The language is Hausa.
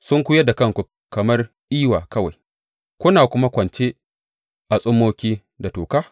Sunkuyar da kanku kamar iwa kawai kuna kuma kwance a tsummoki da toka?